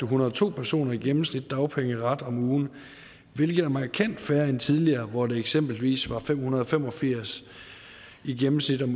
hundrede og to personer i gennemsnit deres dagpengeret om ugen hvilket er markant færre end tidligere hvor det eksempelvis var fem hundrede og fem og firs i gennemsnit om